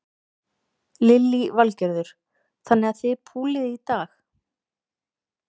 Lillý Valgerður: Þannig að þið púlið í dag?